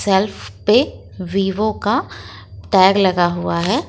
Self पे Vivo का tag लगा हुआ है।